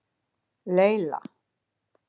Laila